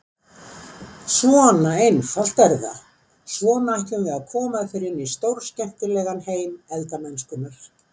Svona einfalt er það, svona ætlum við að koma þér inn í stórskemmtilegan heim elda-mennskunnar!